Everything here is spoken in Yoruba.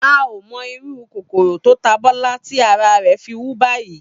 A ò mo̩ irú kòkòrò tó ta Bó̩lá tí ara rè̩ fi wú báyìí